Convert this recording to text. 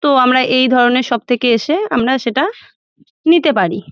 তো আমরা এই ধরণের সবথেকে এসে আমরা সেটা নিতে পারি ।